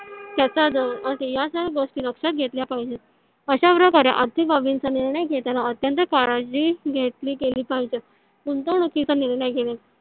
त्याचा या सर्व गोष्टी लक्षात घेतल्या पाहिज. अश्या प्रकारे आर्थिक बाबींचा निर्णय घेतांना अत्यंत काळजी घेतली गेली पाहिजे. गुंतवणुकीचा निर्णय घेण्या